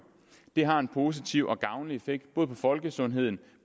det har en positiv og gavnlig effekt på folkesundheden